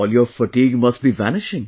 All your fatigue must be vanishing